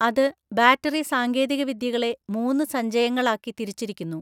അത് ബാറ്ററി സാങ്കേതികവിദ്യകളെ മൂന്ന് സഞ്ചയങ്ങളാക്കി തിരിച്ചിരിക്കുന്നു.